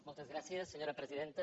moltes gràcies senyora presidenta